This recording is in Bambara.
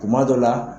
Kuma dɔ la